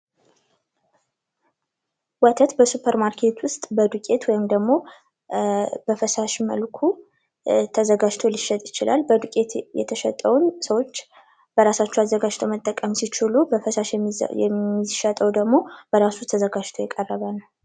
ወተት በሱፐርማርኬት ዉስጥ በዱቄት ወይም ደግሞ በፈሳሽ መልኩ ተዘጋጅቶ ሊሸጥ ይችላል። በዱቄት የተሸጠንዉ ሰዎች በራሳቸዉ አዘጋጅተዉ መጠቀም ሲችሉ በፈሳሽ የሚሸጠዉ ደግሞ በራሱ ተዘጋጅቶ የቀረበ ነዉ።